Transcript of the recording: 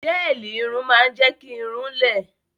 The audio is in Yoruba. Gẹ́ẹ̀lì irun máa ń jẹ́ kí irun-ún lẹ